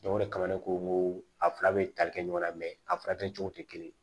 o de kama ne ko n ko a fila bɛ tali kɛ ɲɔgɔn na a fura kɛcogo tɛ kelen ye